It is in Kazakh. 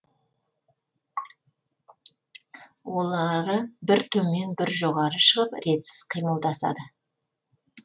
олары бір төмен бір жоғары шығып ретсіз қимылдасады